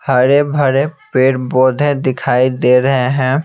हरे भरे पेड़ बौधे दिखाई दे रहे हैं।